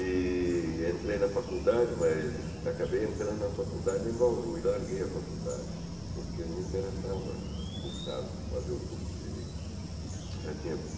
E entrei na faculdade, mas acabei entrando na faculdade em Bauru e larguei a faculdade, porque não me interessava cursar fazer o curso de Direito. Já tinha